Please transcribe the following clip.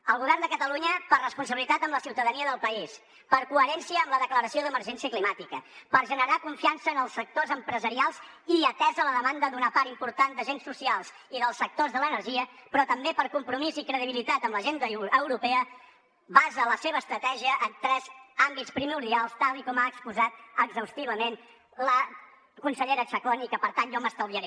el govern de catalunya per responsabilitat amb la ciutadania del país per coherència amb la declaració d’emergència climàtica per generar confiança en els sectors empresarials i atesa la demanda d’una part important d’agents socials i dels sectors de l’energia però també per compromís i credibilitat amb l’agenda europea basa la seva estratègia en tres àmbits primordials tal com ha exposat exhaustivament la consellera chacón i que per tant jo m’estalviaré